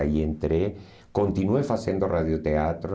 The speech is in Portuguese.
Aí entrei, continuei fazendo radioteatro.